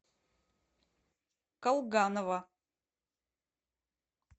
колганова